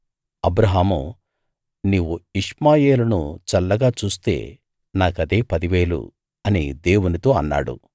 అబ్రాహాము నీవు ఇష్మాయేలును చల్లగా చూస్తే నాకదే పదివేలు అని దేవునితో అన్నాడు